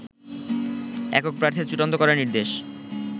একক প্রার্থী চূড়ান্ত করার নির্দেশ